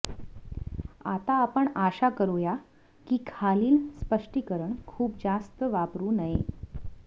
आता आपण आशा करूया की खालील स्पष्टीकरण खूप जास्त वापरु नये